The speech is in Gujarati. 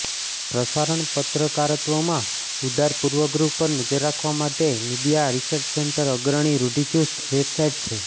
પ્રસારણ પત્રકારત્વમાં ઉદાર પૂર્વગ્રહ પર નજર રાખવા માટે મીડિયા રિસર્ચ સેન્ટર અગ્રણી રૂઢિચુસ્ત વેબસાઇટ છે